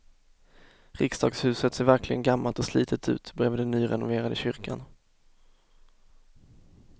Riksdagshuset ser verkligen gammalt och slitet ut bredvid den nyrenoverade kyrkan.